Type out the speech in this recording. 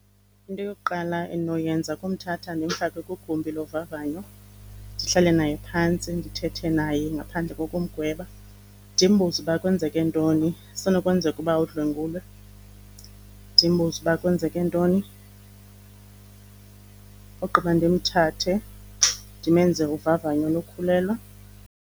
Into yokuqala endinoyenza kumthatha ndumfake kwigumbi lovavanyo, ndihlale naye phantsi ndithethe naye ngaphandle kokumgweba. Ndimbuze uba kwenzeke ntoni, kusenokwenzeka ukuba udlwengulwe. Ndimbuze uba kwenzeke ntoni ogqiba ndimthathe ndimenze uvavanyo lokukhulelwa.